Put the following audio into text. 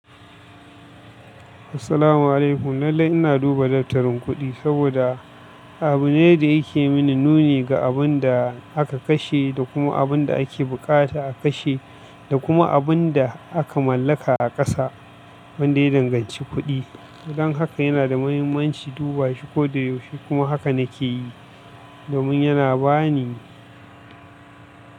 Assalamu alaikum. Lallai ina duba dattarin kuɗi saboda abu ne da yake mini nuni ga abin da aka kashe da kuma abin da ake buƙata a kashe da kuma abin da aka mallaka a ƙasa wanda ya danganci kuɗi. Don haka yana da mahimmanci duba shi koda yaushe kuma haka na ke yi domin yana ba ni.